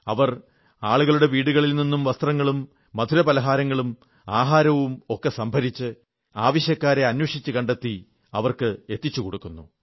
അവർ ആളുകളുടെ വീടുകളിൽ നിന്നും വസ്ത്രങ്ങളും മധുരപലഹാരങ്ങളും ആഹാരങ്ങളും ഒക്കെ സംഭരിച്ച് ആവശ്യക്കാരെ അന്വേഷിച്ചു കണ്ടെത്തി അവർക്ക് എത്തിച്ചുകൊടുക്കുന്നു